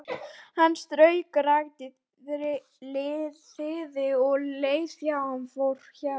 Hann strauk rakt þilið um leið og hann fór hjá.